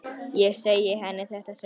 Ég segi henni þetta seinna.